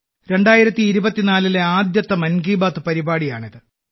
2024ലെ ആദ്യത്തെ മൻ കി ബാത് പരിപാടിയാണിത്